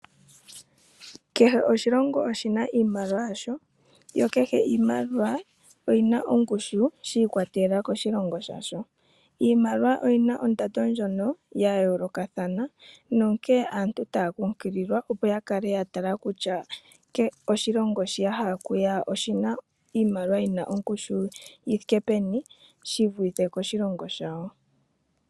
Kehe oshilongo oshina iimaliwa yasho, niimaliwa oyina ongushu yiikwatelela koshilongo shayo. Kehe oshimaliwa oshina ondando ndjono ya yoolokothana onkene aanta taya kunkililwa opo ya kale yatala kutya ondando yoshilongo hono yahal okuya kutya iimaliwa yawo oyina ondando yithike peni shivulithe koshilongo shawo.